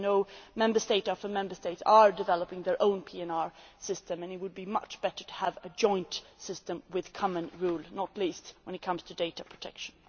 As you know, Member State after Member State is developing its own PNR system, and it would be much better to have a joint system with common rules, not least when it comes to data protection.